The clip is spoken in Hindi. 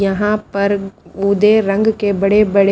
यहां पर उदय रंग के बड़े बड़े--